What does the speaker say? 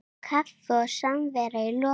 Kaffi og samvera í lokin.